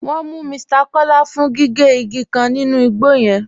Wọn mú Mr Kọla fún gígé igi kan nínú igbo yẹn.